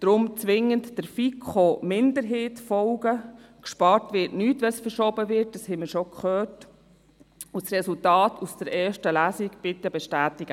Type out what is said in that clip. Deshalb: Zwingend der FiKo-Minderheit folgen – gespart wird nichts, wenn es verschoben wird, das haben wir schon gehört – und das Resultat aus der ersten Lesung bitte bestätigen!